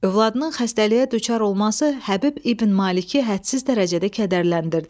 Övladının xəstəliyə düçar olması Həbib İbn Maliki hədsiz dərəcədə kədərləndirdi.